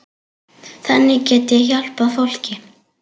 Þannig get ég hjálpað fólki.